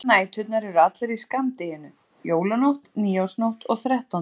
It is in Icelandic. Hinar næturnar eru allar í skammdeginu: Jólanótt, nýársnótt og þrettándanótt.